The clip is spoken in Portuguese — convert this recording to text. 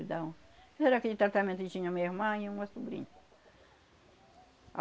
Não era aquele tratramento que tinha a minha irmã e uma sobrinha.